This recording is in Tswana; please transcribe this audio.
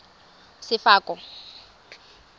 sefako